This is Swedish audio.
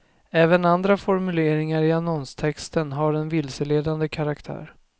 Även andra formuleringar i annonstexten har en vilseledande karaktär.